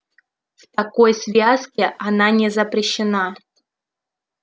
в такой связке она не запрещена